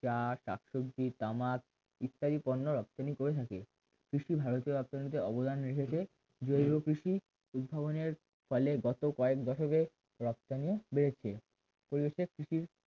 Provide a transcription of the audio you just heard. চা শাকসবজি তামাক ইত্যাদি পণ্য রপ্তানি করে থাকে কৃষি ভারতীয় রপ্তানিতে অবদান রেখেছে জৈব কৃষি উদ্ভাবনের ফলে গত কয়েক দশকের রপ্তানিও বেড়েছে পরিবেশের কৃষি